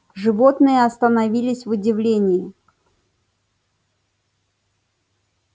животные остановились в удивлении